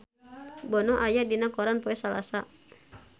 Bono aya dina koran poe Salasa